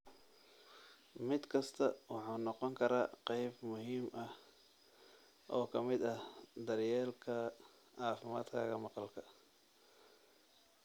Mid kastaa wuxuu noqon karaa qayb muhiim ah oo ka mid ah daryeelka caafimaadkaaga maqalka.